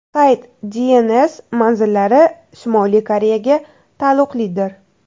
Sayt DNS manzillari Shimoliy Koreyaga taalluqlidir.